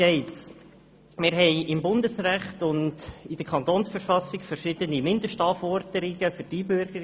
Wir haben im Bundesrecht und in der Kantonsverfassung verschiedene Mindestanforderungen für die Einbürgerung.